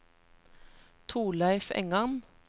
Thorleif Engan